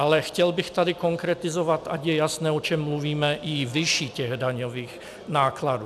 Ale chtěl bych tady konkretizovat, ať je jasné, o čem mluvíme, i výši těch daňových nákladů.